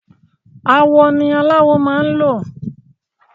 Awọ ni aláwọ máa ń lò